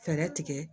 Fɛɛrɛ tigɛ